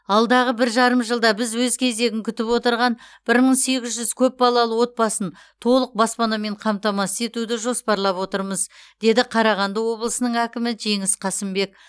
алдағы бір жарым жылда біз өз кезегін күтіп отырған бір мың сегіз жүз көп балалы отбасын толық баспанамен қамтамасыз етуді жоспарлап отырмыз деді қарағанды облысының әкімі жеңіс қасымбек